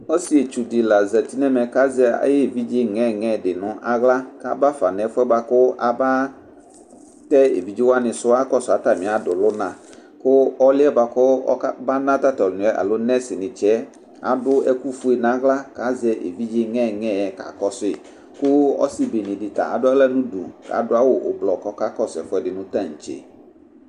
ɔsietsu di la ʒati nɛmɛ kaʒɛ aɣe evidʒe ŋɛŋɛ di nu aɣla ka ba va nu efuɛ Baku aba tɛ evidʒe wanin su akɔsu atami adulu na ku ɔlɛ baku ba na tatɔlunɛ alo nɛs ni tsiɛ adu ɛku foe na la ka ʒɛ evidʒe ŋɛŋɛ ka ku sui ku osi bene di ta ada la nu du adu awu blɔ kakɔ su tantse